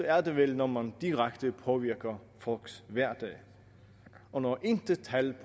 er det vel når man direkte påvirker folks hverdag og når intet tal